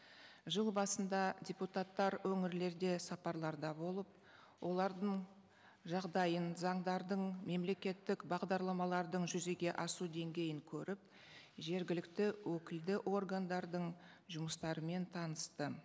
жыл басында депутаттар өңірлерде сапарларда болып олардың жағдайын заңдардың мемлекеттік бағдардамалардың жүзеге асу деңгейін көріп жергілікті өкілді органдардың жұмыстарымен танысты